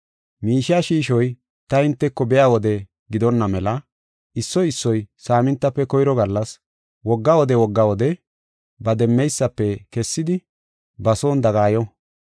Miishiya shiishoy ta hinteko biya wode gidonna mela issoy issoy saamintafe koyro gallas, wogga wode, wogga wode, ba demmeysafe kessidi ba son dagayo.